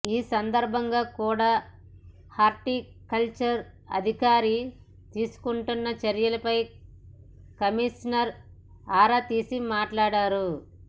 ఈ సందర్భంగా కుడా హార్టికల్చర్ అధికారి తీసుకుంటున్న చర్యలపై కమిషనర్ ఆరా తీసి మాట్లాడారు